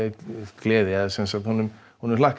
gleði og honum honum hlakkaði